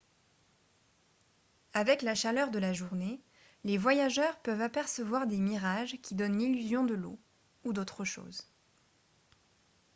avec la chaleur de la journée les voyageurs peuvent apercevoir des mirages qui donnent l'illusion de l'eau ou d'autres choses